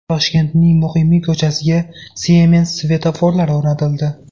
Toshkentning Muqimiy ko‘chasiga Siemens svetoforlari o‘rnatildi.